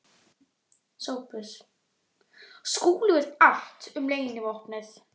SOPHUS: Skúli veit allt um leynivopnið.